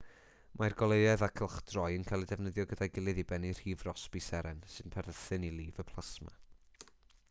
mae'r goleuedd a chylchdroi yn cael eu defnyddio gyda'i gilydd i bennu rhif rossby seren sy'n perthyn i lif y plasma